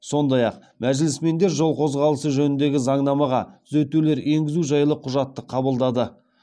сондай ақ мәжілісмендер жол қозғалысы жөніндегі заңнамаға түзетулер енгізу жайлы құжатты қабылдады